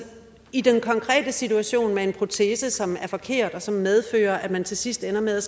i den konkrete situation med en protese som er forkert og som medfører at man til sidst ender med at